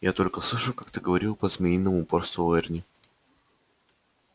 я только слышал как ты говорил по-змеиному упорствовал эрни